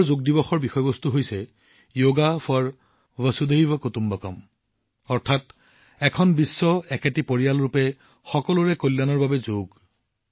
এইবাৰ যোগ দিৱসৰ বিষয়বস্তু হৈছে য়গা ফৰ ভাছুধাইভা কুটুম্বকম অৰ্থাৎ এক বিশ্বএক পৰিয়াল ৰূপত সকলোৰে কল্যাণৰ বাবে যোগ